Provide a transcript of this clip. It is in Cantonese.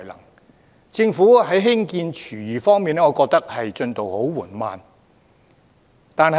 我認為政府在興建廚餘廠方面，進度很緩慢。